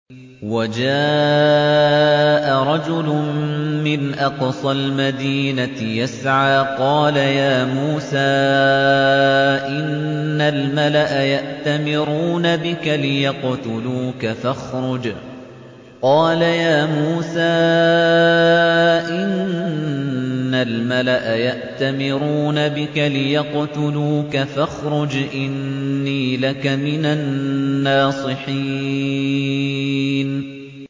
وَجَاءَ رَجُلٌ مِّنْ أَقْصَى الْمَدِينَةِ يَسْعَىٰ قَالَ يَا مُوسَىٰ إِنَّ الْمَلَأَ يَأْتَمِرُونَ بِكَ لِيَقْتُلُوكَ فَاخْرُجْ إِنِّي لَكَ مِنَ النَّاصِحِينَ